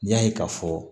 N y'a ye k'a fɔ